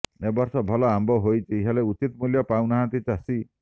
ଏବର୍ଷ ଭଲ ଆମ୍ବ ହୋଇଛି ହେଲେ ଉଚିତ୍ ମୂଲ୍ୟ ପାଉନାହାଁନ୍ତି ଚାଷୀ